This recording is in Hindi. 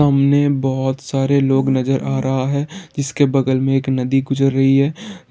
सामने बहुत सारा लोग नजर आ रहा है जिसके बगल में एक नदी गुजर रही है